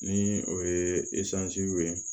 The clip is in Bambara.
Ni o ye wele